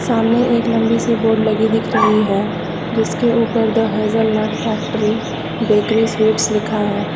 सामने एक लंबी सी बोर्ड लगी दिख रही है जिसके ऊपर the hazelnut factory bakery sweets लिखा है।